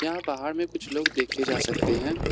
यहां बाहर में कुछ लोग देखे जा सकते हैं।